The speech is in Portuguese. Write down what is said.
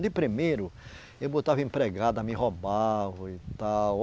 De primeiro, eu botava empregada, me roubavam e tal.